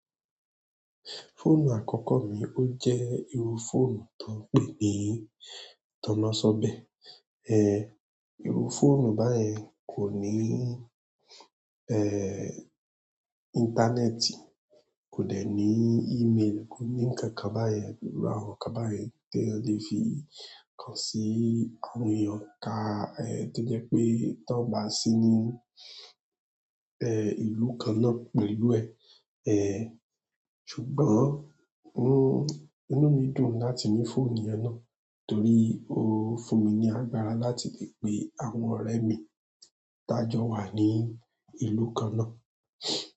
Fóònù àkọ́kọ́ mi ó jẹ́ irú fóònù tó ń pè ní tannasọ́bẹ̀. Eh, irú fóònù báyẹn kò ní, eh, íńtánẹ́ẹ̀tì, kò dẹ̀ ní ímeelì, kò ní ǹkankan báyẹn, iru àwọn nkán báyẹn tí èèyàn le fi kan sí àwọn èèyàn ká, eh, tó jẹ́ pé tí wọ́n bá sí ní, eh ìlú kanna pẹ̀lú ẹ, eh ṣùgbọ́n inú mí dùn láti ní phone yẹn na torí o fún mi ni agbára láti le pe àwọn ọrẹ mẹ ta jọ wà ni ìlú kàn na.